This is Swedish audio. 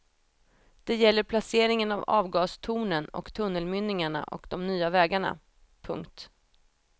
Det gäller placeringen av avgastornen och tunnelmynningarna och de nya vägarna. punkt